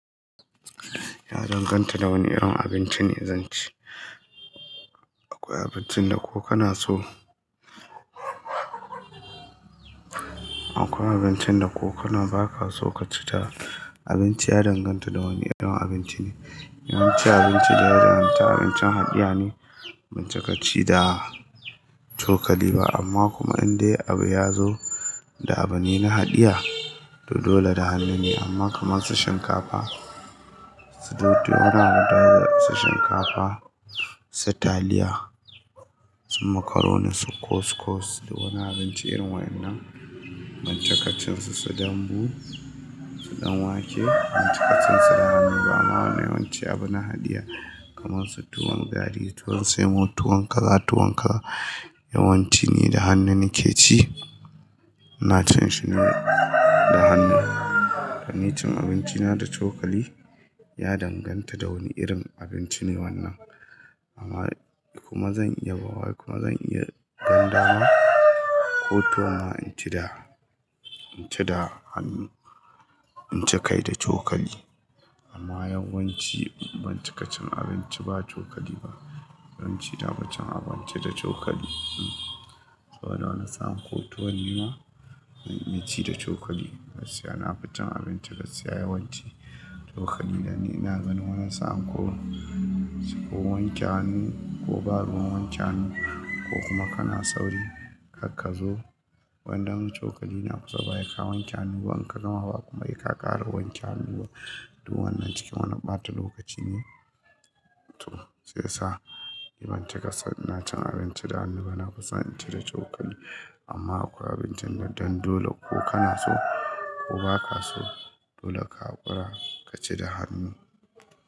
Ya danganta da wane irin abinci ne zan ci. Akwai abincin da ko kana so, akwai abincin da ko kana ba ka so ka ci ta. Abinci ya danganta da wane irin abinci ne. Yawanci abinci da ya danganta abincin haɗiya ne, ban ci kaci da cokali ba amma kuma in dai abu ya zo idan abu ne na haɗiya to dole da hannu ne amma kamar su shinkafa, ko dai wani su shinkafa, su taliya, su makaroni, su kuskus da wani abinci irin waɗannan ban ci kacinsu, su dambu, su ɗan wake ban ci kacinsu da hannu ba amma wannan yawanci abu na haɗiya kamar su tuwon gari, tuwon semo, tuwon kaza, tuwon kaza yawanci ni da hannu nake ci. Ina cin shi ne da hannu. Ni cin abinci na da cokali ya danganta da wane irin abinci ne wannan. Amma kuma zan iya bawa kuma zan iya ganinda ma ko tuwo ma in ci da, in ci da hannu, in ci kai da cokali. Amma yawanci ban ci ka cin abinci ba cokali ba. Ban ci da, ban cin abinci da cokali. Sabo da wani sa'in ko tuwo ne ma na ci da cokali gaskiya na fi cin abinci gaskiya yawanci cokali dan ina ganin wani sa'an ko, ko wanke hannu ko babu ruwan wanke hannu ko kuma kana sauri karka zo. Wannan cokali ne a kusa basai ka wanke hannu ba in ka gama ba kuma sai ka ƙara wanke hannu ba. Tu wannan cikin wani ɓata lokaci ne. To siyasa ni ban ci kasan ina cin abinci da hannu ba nafison in ci da cokali amma akwai abincin da dan dole ko kana so ko ba ka so dole ka gwada ka ci da hannu.